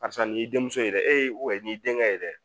Karisa nin y'i denmuso ye dɛ e denkɛ ye yɛrɛ